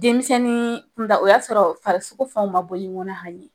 Denmisɛnin kunda o y'a sɔrɔ farisoko fɛnw ma bɔ ɲɔgɔn na hali bi